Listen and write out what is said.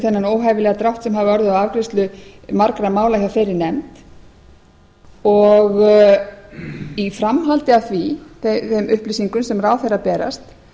þennan óhæfilega drátt sem hefur orðið á afgreiðslu margra mála hjá þeirri nefnd og í framhaldi af þeim upplýsingum sem ráðherra berast